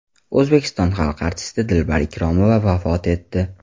O‘zbekiston xalq artisti Dilbar Ikromova vafot etdi.